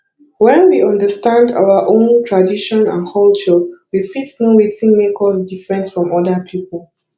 when we understand our own tradition and culture we fit know wetin make us different from oda pipo